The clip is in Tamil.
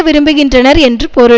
விரும்புகின்றனர் என்று பொருள்